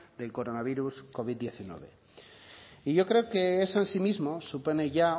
del coronavirus covid hemeretzi y yo creo que eso en sí mismo supone ya